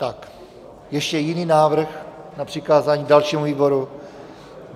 Je ještě jiný návrh na přikázání dalšímu výboru?